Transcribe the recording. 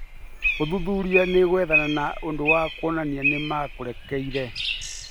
Ũthuthuria nĩ gwethana na ũndũ wa kuonania nĩ maa nĩkũrekĩkire